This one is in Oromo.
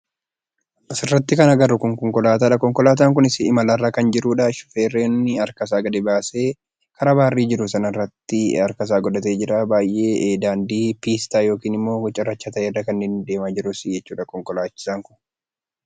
Asirratti kan arginu konkolaataadha. Konkolaataan kunis imalarra kan jiruudha. Shufeerri harka gadi baasee karaa barrii jiru sanatti harkasaa godhatee jura. Daandii piistaa yookaan cirracha ta'e irradha kanninni deemaa jiru konkolaachisaan kun.